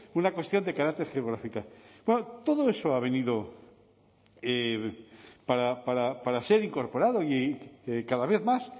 una cuestión de carácter geográfica claro todo eso ha venido para ser incorporado y cada vez más